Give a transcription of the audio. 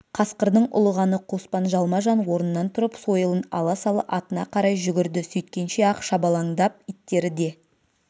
қасқырдың ұлығаны қоспан жалма-жан орнынан тұрып сойылын ала сала атына қарай жүгірді сөйткенше-ақ шабалаңдап иттері де